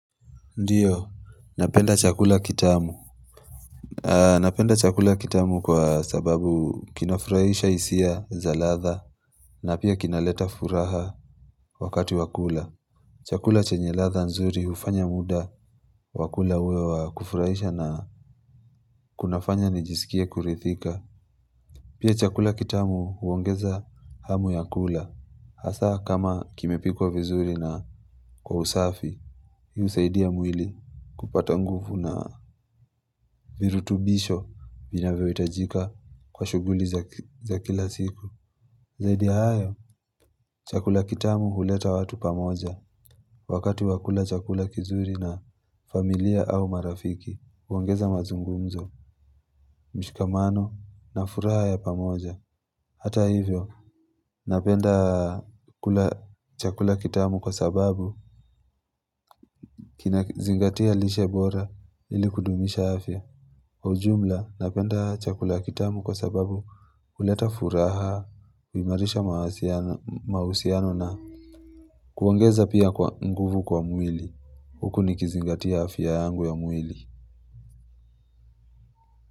Ndiyo, napenda chakula kitamu Napenda chakula kitamu kwa sababu kinafurahisha hisia za ladha na pia kinaleta furaha wakati wa kula Chakula chenye ladha nzuri hufanya muda wa kula uwe wa kufurahisha na kunafanya nijisikie kuridhika Pia chakula kitamu huongeza hamu ya kula Hasa kama kimepikwa vizuri na kwa usafi Hi husaidia mwili kupata nguvu na virutubisho vinavyohitajika kwa shughuli za kila siku. Zaidi ya hayo, chakula kitamu huleta watu pamoja. Wakati wa kula chakula kizuri na familia au marafiki, uongeza mazungumzo, mshikamano na furaha ya pamoja. Hata hivyo, napenda chakula kitamu kwa sababu kinazingatia lishe bora ili kudumisha afya. Kwa ujumla napenda chakula kitamu kwa sababu huleta furaha, uimarisha mahusiano na kuongeza pia nguvu kwa mwili, huku nikizingatia afya yangu ya mwili.